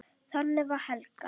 Þannig var Helga.